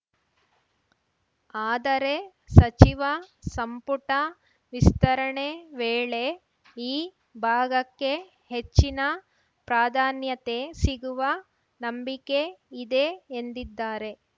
ಆದರೆ ಸಚಿವ ಸಂಪುಟ ವಿಸ್ತರಣೆ ವೇಳೆ ಈ ಭಾಗಕ್ಕೆ ಹೆಚ್ಚಿನ ಪ್ರಾಧಾನ್ಯತೆ ಸಿಗುವ ನಂಬಿಕೆ ಇದೆ ಎಂದಿದ್ದಾರೆ